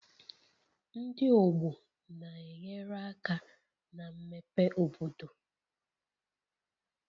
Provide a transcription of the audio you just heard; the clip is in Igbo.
Ndị ọgbọ na-enyere aka na mmepe obodo